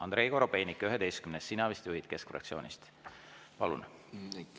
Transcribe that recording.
Andrei Korobeinik, 11., sina vist juhid Keskfraktsioonist, palun!